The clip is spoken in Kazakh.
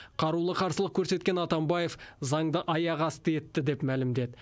қарулы қарсылық көрсеткен атамбаев заңды аяқ асты етті деп мәлімдеді